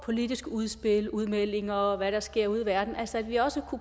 politiske udspil udmeldinger og hvad der sker ude i verden altså at vi også